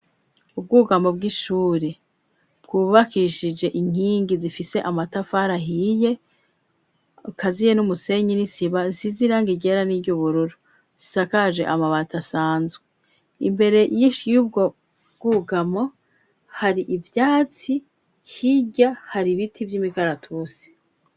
Ubwugamo bw'ishure, bwubakishije inkingi zifise amatafari ahiye, akaziye n'umusenyi n'isima, zisize irangi ryera n'iyubururu, zisakaje amabati asanzwe, imbere y'ubwo bwugamo hari ivyatsi, hirya hari ibiti vy'imikaratusi.